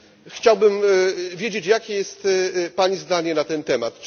Chciałbym wiedzieć, jakie jest Pani zdanie na ten temat?